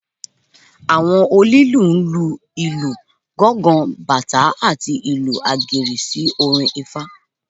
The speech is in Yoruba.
Àwọn onílù lu ìlù gángán, batá àti ìlù àgẹ̀rẹ̀ sí orin ifá.